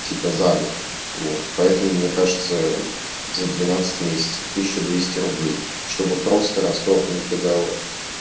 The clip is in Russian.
типа за год вот поэтому мне кажется за двенадцать месяцев тысяча двести рублей чтобы просто расторгнуть договор